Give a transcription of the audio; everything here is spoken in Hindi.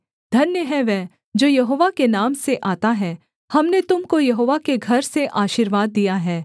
धन्य है वह जो यहोवा के नाम से आता है हमने तुम को यहोवा के घर से आशीर्वाद दिया है